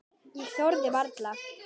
Ég þori varla.